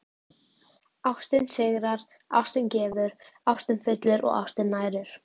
Ástin sigrar, ástin gefur, ástin fyllir og ástin nærir.